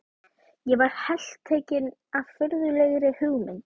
Ég varð heltekinn af furðulegri hugmynd.